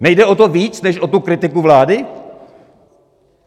Nejde o to víc než o tu kritiku vlády?